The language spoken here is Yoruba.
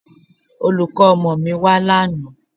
Olùkọ́ ọmọ mi wá lánàá